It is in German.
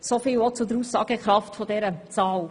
Soviel zur Aussagekraft dieser Zahl.